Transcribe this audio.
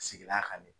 Sigida kan de